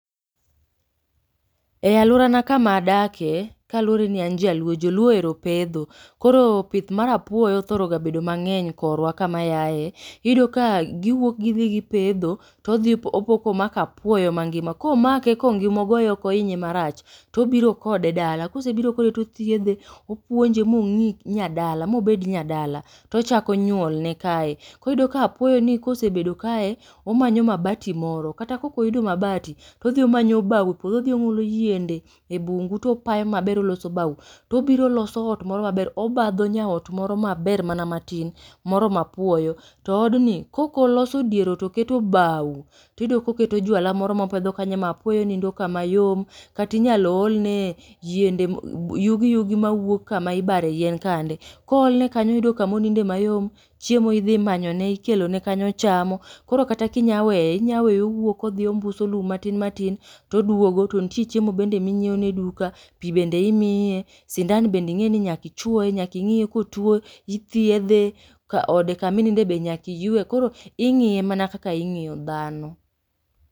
E alworana kama adake kaluwore ni an jaluo, joluo ohero pedho, koro pith mar apuoyo othoro ga bedo mang'eny koro pith mar apuoyo, iyudo ka giwuok gidhi gipedho to odhi opo ka omako apuoyo mangima. Komako kongima ok ogoye oinye marach to ibiro kode dala, kosebiro kode to othiedhe opuonje ma ong'i nya dala ma obed nya dala, tochako nyuol ne kae. Koro iyudo ka apuoyo ni kosebedo kae omanyo mabati moro kata ka ok oyudo mabati to odhi omayo bao e puodho odhi omulo yiende e bungu to opayo maber odhi oloso bao, to obiro oloso ot moro maber, obadho nyaot moro maber mana matin, moromo apuoyo to odni kok oloso dier ot oketo bao, tiyudo ka oketo jwalo moro mopedho kanyo ma apuoyo nindo kama yom kata inyalo olne e yiende e yugi yudi ma wuok kama ibare yien kande. Koolne kanyo oyudo kama oninde mayom, chiemo idhi manyone ikelone kanyo ochamo, koro kata ka inya weye inya weye owuok odhi ombuso lum matin matin, toduogo to ntie chiemo bende minyieo ne e duka, pi bende imiye, sindan bende ing'eni nyaka ichuoe nyaka ing'iye ka otuo, ithiedhe ka ode kama oninde be nyaka iywe. Koro ing'iye mana kaka ing'iyo dhano.